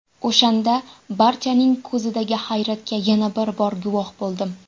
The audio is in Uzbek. O‘shanda, barchaning ko‘zidagi hayratga yana bir bor guvoh bo‘ldim.